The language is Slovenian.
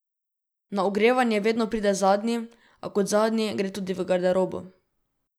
Na ogrevanje vedno pride zadnji, a kot zadnji gre tudi v garderobo.